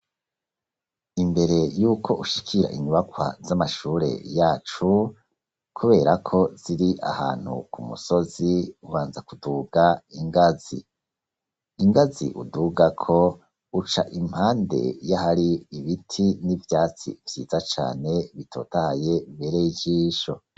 Imbere yuko ushikira inyubakwa z'amashure yacu kubera ko ziri ahantu ku musozi ubanza kuduga ingazi, ingazi udugako uca impande y'ahari ibiti n'ivyatsi vyiza cane bitotaye bibereye ijisho.